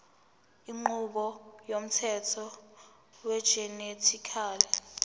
inqubo yomthetho wegenetically